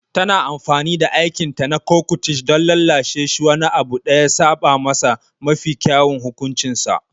Tana amfani da aikinta na coquettish don lallashe shi wani abu da ya saba masa da mafi kyawun hukuncinsa.